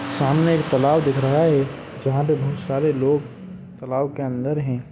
सामने एक तालाब दिख रहा है जहा पर बहुत सारे लोग तालाब के अंदर हैं।